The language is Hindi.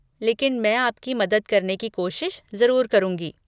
लेकिन मैं आपकी मदद करने की कोशिश ज़रूर करूँगी।